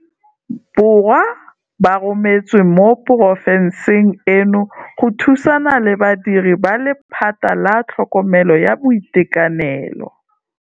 Borwa ba rometswe mo porofenseng eno go thusana le badiri ba lephata la tlhokomelo ya boitekanelo.